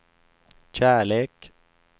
kärlek